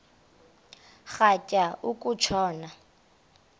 rhatya uku tshona